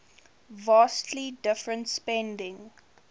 vastly different spending